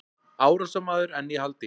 Árásarmaður enn í haldi